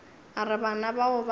a re bana bao ba